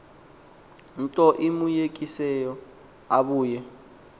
nto imoyikisileyo ubuye